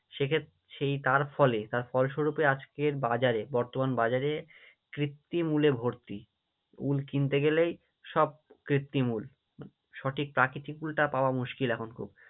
সেই তার ফলে তার ফল স্বরূপে আজকের বাজারে বর্তমান বাজারে কৃত্রিম উলে ভর্তি, উল কিনতে গেলেই সব কৃত্রিম উল, সঠিক প্রাকৃতিক উলটা পাওয়া মুশকিল এখন খুব